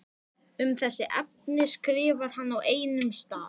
Um þessi efni skrifar hann á einum stað